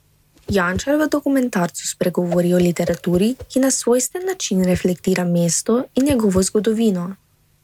Jančar v dokumentarcu spregovori o literaturi, ki na svojstven način reflektira mesto in njegovo zgodovino.